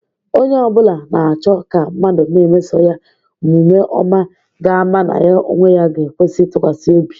Onye obula na-cho ka mmadu na-emeso ya omvme oma ga-ama na ya onwe ya ga-ekwesi itukwasi obi.